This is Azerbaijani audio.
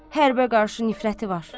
Hərbə qarşı nifrəti var.